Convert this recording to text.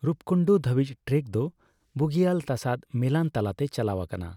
ᱨᱩᱯᱠᱩᱱᱰᱩ ᱫᱷᱟᱹᱵᱤᱡ ᱴᱨᱮᱠ ᱫᱚ ᱵᱩᱜᱤᱭᱟᱞ ᱛᱟᱥᱟᱫ ᱢᱮᱞᱟᱱ ᱛᱟᱞᱟᱛᱮ ᱪᱟᱞᱟᱣ ᱟᱠᱟᱱᱟ ᱾